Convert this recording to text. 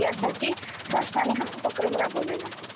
यासाठी शासनाने हा प्रोग्राम राबवलेला आहे.